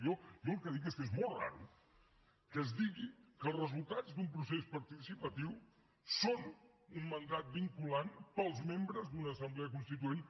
jo el que dic és que és molt estrany que es digui que els resultats d’un procés participatiu són un mandat vinculant per als membres d’una assemblea constituent